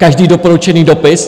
Každý doporučený dopis?